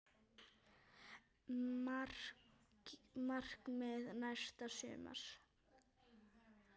Markmið næsta sumars?